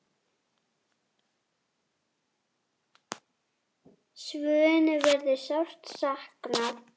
Svönu verður sárt saknað.